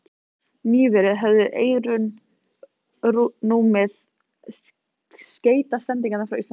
Nýverið höfðu Eyrun numið skeytasendingar frá Íslandi.